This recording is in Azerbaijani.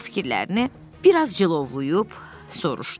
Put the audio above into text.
Pux fikirlərini biraz cılovlayıb soruşdu.